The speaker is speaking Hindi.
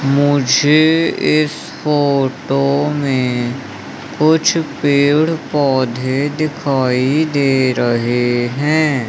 मुझे इस फोटो में कुछ पेड़ पौधे दिखाई दे रहे हैं।